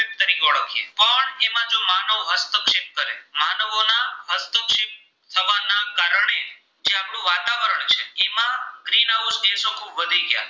તો વધી ગયા